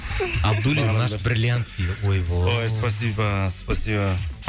абдуллин наш бриллиант дейді ой спасибо спасибо